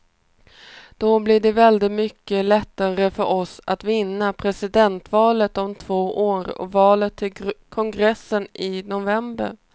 Då blir det väldigt mycket lättare för oss att vinna presidentvalet om två år och valet till kongressen i november.